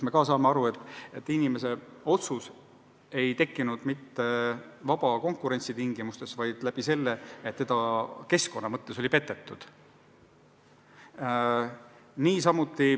Me saame aru, et inimese otsus ei tekkinud mitte vaba konkurentsi tingimustes, vaid tänu sellele, et teda oli keskkonda kasutades petetud.